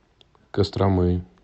костромы